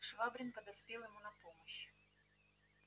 швабрин подоспел ему на помощь